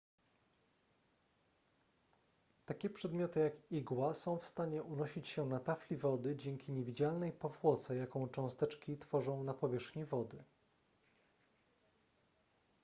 takie przedmioty jak igła są w stanie unosić się na tafli wody dzięki niewidzialnej powłoce jaką cząsteczki tworzą na powierzchni wody